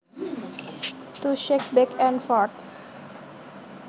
To shake back and forth